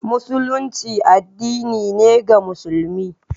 Musulunci addinin ne ga musulmi